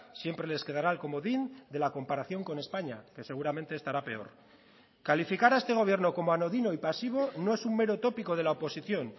siempre les quedará el comodín de la comparación con españa que seguramente estará peor calificar a este gobierno como anodino y pasivo no es un mero tópico de la oposición